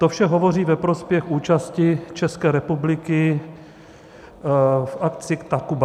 To vše hovoří ve prospěch účasti České republiky v akci Takuba.